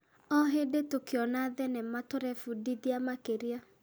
O hĩndĩ tũkĩona thenema tũrebundithia makĩria.